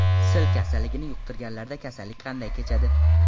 Sil kasalligini yuqtirganlarda kasallik qanday kechadi?